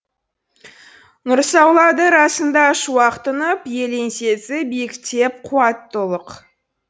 нұрсаулады расында шуақ тұнып ел еңсесі биіктеп қуатты ұлық